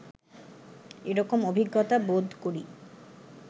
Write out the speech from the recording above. এরকম অভিজ্ঞতা বোধ করি